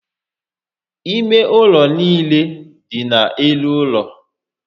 Ime ụlọ niile dị n'elu ụlọ